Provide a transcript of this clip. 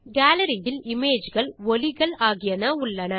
gallery இல் image கள் ஒலிகள் ஆகியன உள்ளன